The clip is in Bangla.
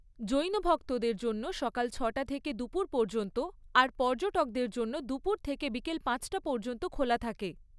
জৈন ভক্তদের জন্য সকাল ছটা থেকে দুপুর পর্যন্ত আর পর্যটকদের জন্য দুপুর থেকে বিকেল পাঁচটা পর্যন্ত খোলা থাকে।